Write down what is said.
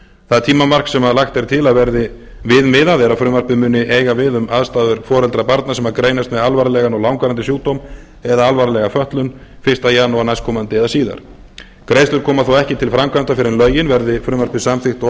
það tímamark sem lagt er til að verði við miðað er að frumvarpið muni eiga við um aðstæður foreldra barna sem greinast með alvarlegan og langvarandi sjúkdóm eða alvarlega fötlun fyrsta janúar næstkomandi eða síðar greiðslur koma þó ekki til framkvæmda fyrr en lögin verði frumvarpið samþykkt óbreytt